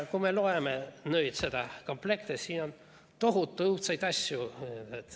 Kui me loeme nüüd seda komplekti, siis siin on tohutu õudseid asju.